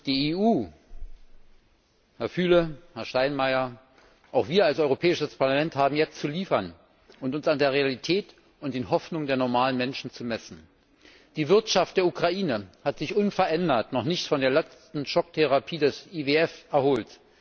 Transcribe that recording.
Die EU, Herr Füle, Herr Steinmeier, auch wir als Europäisches Parlament haben jetzt zu liefern und uns an der Realität und den Hoffnungen der normalen Menschen zu messen. Die Wirtschaft der Ukraine hat sich unverändert noch nicht von der letzten Schocktherapie des IWF erholt.